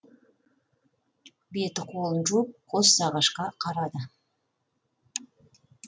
беті қолын жуып қос ағашқа қарады